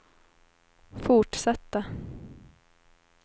fortsatta